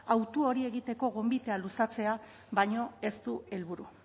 hautu hori egiteko gonbitea luzatzea baino ez du helburu